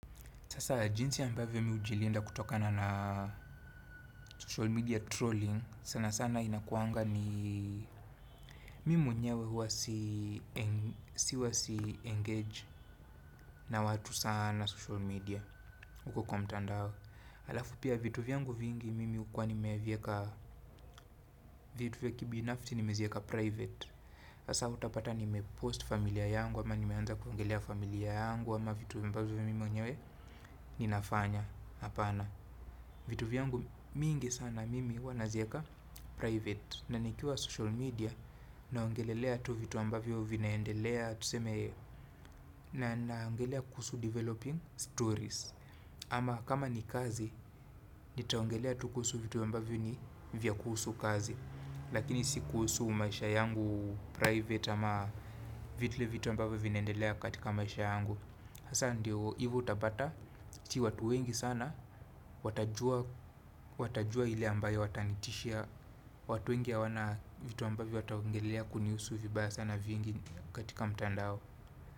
Sasa jinsi ambavyo mi hujilinda kutokana na social media trolling sana sana inakuanga ni mimi mwenyewe hua si-engage na watu sana social media. Huko kwa mtandao. Alafu pia vitu vyangu vingi mimi ukuwa nimevieka. Vitu vya kibinafti nimezieka private. Sasa utapata nime post familia yangu ama nimeanza kuongelea familia yangu ama vitu ambavyo mimi mwenyewe ninafanya. Vitu vyangu mingi sana mimi huwa nazieka private. Na nikiwa social media naongelelea tu vitu ambavyo vinaendelea. Na naongelea kuhusu developing stories. Ama kama ni kazi, nitaongelea tu kuhusu vitu ambavyo ni vya kuhusu kazi. Lakini si kuhusu maisha yangu private ama vile vitu ambavyo vinaendelea katika maisha yangu. Hasa ndiyo hivo utapata, sii watu wengi sana, watajua ile ambayo watanitishia, watu wengi hawana vitu ambavyo wataongelelea kunihusu vibaya sana vingi katika mtandao.